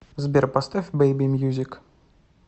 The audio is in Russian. сбер поставь бэйби мьюзик